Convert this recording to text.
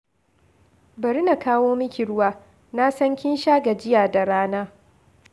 Bari na kawo miki ruwa, na san kin sha gajiya da rana.